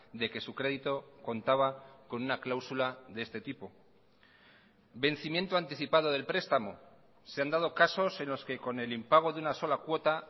de que su crédito contaba con una cláusula de este tipo vencimiento anticipado del prestamo se han dado casos en los que con el impago de una sola cuota